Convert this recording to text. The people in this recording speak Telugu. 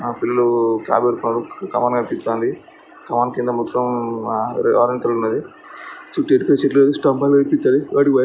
కమాన్ కనిపిస్తుంది. కమాన్ కింద మొత్తం ఆరెంజ్ కలర్ ఉన్నది. చుట్టూ ఎనక స్తంబలు కనిపిత్తనాయి.